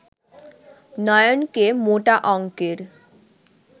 নয়নকে মোটা অঙ্কের